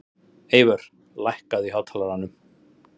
Eyvör, lækkaðu í hátalaranum.